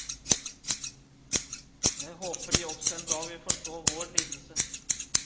Jeg håper de også en dag vil forstå vår lidelse.